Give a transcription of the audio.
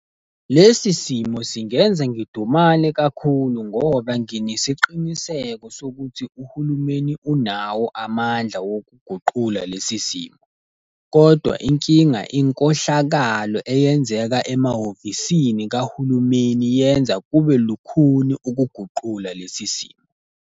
Lesi simo singenza ngidumale kakhulu ngoba nginesiqiniseko sokuthi uhulumeni unawo amandla wokuguqula lesi simo. Kodwa inkinga inkohlakalo eyenzeka emahhovisini kahulumeni, yenza kube lukhuni ukuguqula lesi simo.